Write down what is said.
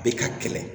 Bɛ ka kɛlɛ